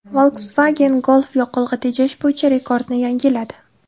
Volkswagen Golf yoqilg‘i tejash bo‘yicha rekordni yangiladi.